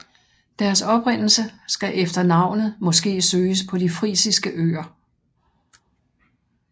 Deres oprindelse skal efter navnet måske søges på de Frisiske Øer